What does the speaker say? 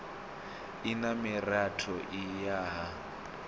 i na miratho i yaho